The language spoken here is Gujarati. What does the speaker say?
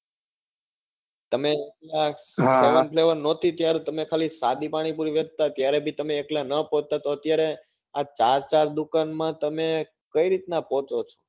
તમે પેલા seven flavour નાતી ત્યારે તમે ખાલી એક સાદી પાણીપુરી વેચતા ત્યારે બી તમે એકલા ના પોચતા તો અત્યરે આં ચાર ચાર દુકાને તમે કઈ રીતે પોચો છો.